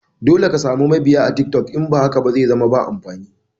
Dole ka samu mabiya a tiktok in ba haka ba zaizama ba amfani.